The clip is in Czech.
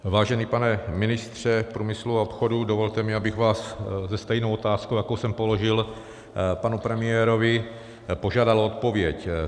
Vážený pane ministře průmyslu a obchodu, dovolte, abych vás se stejnou otázkou, jakou jsem položil panu premiérovi, požádal o odpověď.